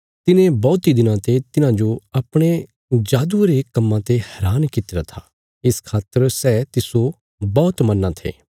तिने बौहतीं दिनां ते तिन्हांजो अपणे जादुये रे कम्मां ते हैरान कित्तिरा था इस खातर सै तिस्सो बौहत मन्नां थे